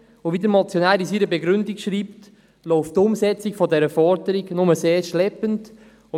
Aber wie der Motionär in seiner Begründung ausführt, geht die Umsetzung dieser Forderung nur sehr schleppend voran.